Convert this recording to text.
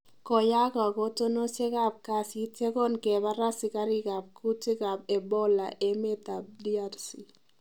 Koyaak kakotunosiek ab kasit ye kongebar asikarik ab kutiik ab Ebola emet ab DRC